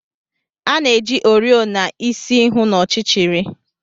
A na-eji oriọna isi hụ n'ọchịchịrị.